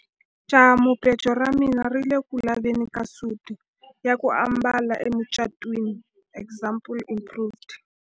Jahamubejo ra mina ri ku le ku laveni ka suti ya ku ambala emucatwini example improved.